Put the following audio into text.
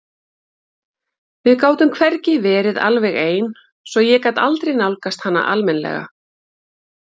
Við gátum hvergi verið alveg ein svo ég gat aldrei nálgast hana almennilega.